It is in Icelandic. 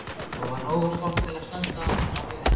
Og var nógu stolt til að standa á mínu.